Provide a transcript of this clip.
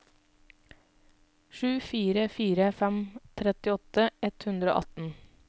sju fire fire fem trettiåtte ett hundre og atten